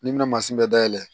N'i bɛna mansin bɛɛ dayɛlɛ